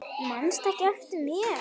Manstu ekki eftir mér?